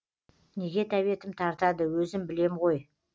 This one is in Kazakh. неге тәбетім тартады өзім білем ғой